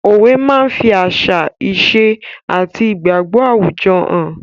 Òwe máa ń fi àṣà, ìṣe àti igbagbo àwùjọ hàn.